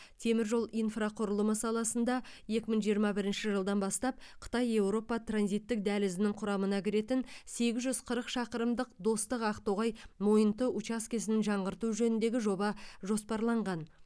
темір жол инфрақұрылымы саласында екі мың жиырма бірінші жылдан бастап қытай еуропа транзиттік дәлізінің құрамына кіретін сегіз жүз қырық шақырымдық достық ақтоғай мойынты учаскесін жаңғырту жөніндегі жоба жоспарланған